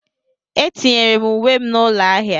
Etinyere m uwe m n'ụlọ ahịa.